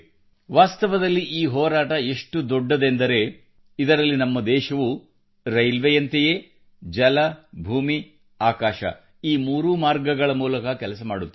ವಾಸ್ತವದಲ್ಲಿ ಈ ಹೋರಾಟ ಎಷ್ಟು ದೊಡ್ಡದೆಂದರೆ ಇದರಲ್ಲಿ ನಮ್ಮ ದೇಶವು ರೈಲ್ವೇಯಂತೆಯೇ ಜಲ ಭೂಮಿ ಆಕಾಶ ಈ ಮೂರೂ ಮಾರ್ಗಗಳ ಮೂಲಕ ಕೆಲಸ ಮಾಡುತ್ತಿದೆ